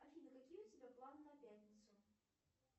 афина какие у тебя планы на пятницу